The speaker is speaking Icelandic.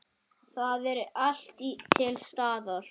Það er allt til staðar.